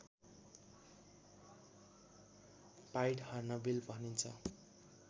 pied hornbill भनिन्छ